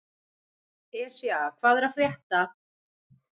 Esja, hvað er að frétta?